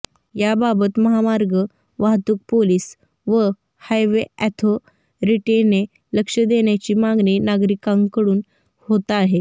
याबाबत महामार्ग वाहतूक पोलीस व हायवे अॅथोरिटीने लक्ष देण्याची मागणी नागरिकांकडून होत आहे